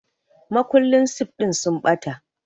Makullan sif ɗin sun ɓata